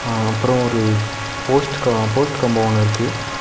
ஆ அப்ரோ ஒரு post post combo இருக்கு.